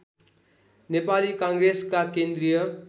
नेपाली काङ्ग्रेसका केन्द्रीय